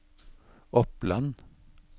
Oppland